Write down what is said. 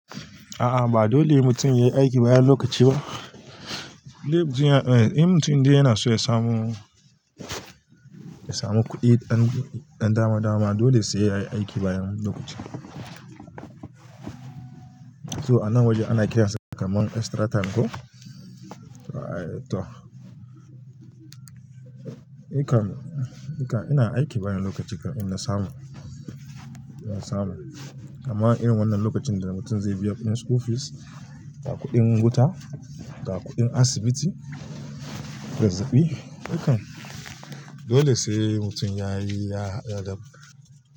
A'a ba dole mutum ya yi aiki bayan lokaci ba. Inde mutum yana--, in mutum inde yana so ya samu, ya samu kuɗi ɗan dama dama dole sai yayi aiki bayan lokaci. So a nan waje ana kiransa kamar extratime ko? To, ikan, ikan ina aiki bayan lokaci kan ina samu, ina samu. Amma irin wannan lokacin da mutum zai biya kudin school fees da kuɗin wata ga kuɗin asibiti, zazzabi, ikan dole sai mutum yayi, ya hada da--,